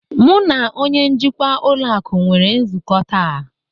Mu na onye njikwa ụlọ akụ nwere nzukọ taa.